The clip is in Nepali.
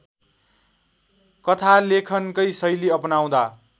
कथालेखनकै शैली अपनाउँदा